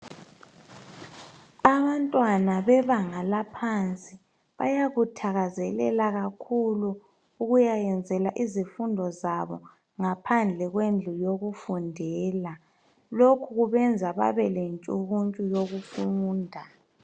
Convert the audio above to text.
abantwana bebanga laphansi bayakuthakazelela kakhulu ukuyayenzela izifundo zabo ngaphandle kwendlu yokufundela lokhu kubenza babe lentshukuntshu yokufunda